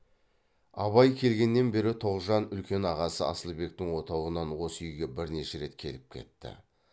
абай келгеннен бері тоғжан үлкен ағасы асылбектің отауынан осы үйге бірнеше рет келіп кетті